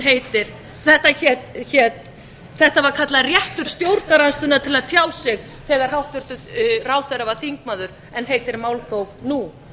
var kallað réttur stjórnarandstöðunnar til að tjá sig þegar hæstvirtur ráðherra var þingmaður en heitir málþóf nú